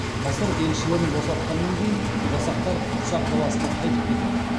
мысыр елшілерін босатқаннан кейін жасақтар қыпшақ даласына қайтып кетеді